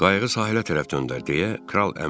Qayığı sahilə tərəf döndər, deyə kral əmr elədi.